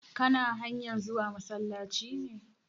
Kana hanyar zuwa masallaci ne?